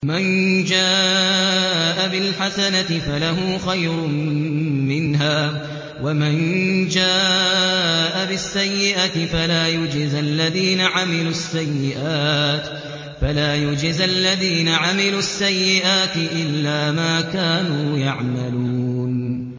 مَن جَاءَ بِالْحَسَنَةِ فَلَهُ خَيْرٌ مِّنْهَا ۖ وَمَن جَاءَ بِالسَّيِّئَةِ فَلَا يُجْزَى الَّذِينَ عَمِلُوا السَّيِّئَاتِ إِلَّا مَا كَانُوا يَعْمَلُونَ